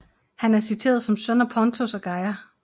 Han er citeret som søn af Pontos og Gaia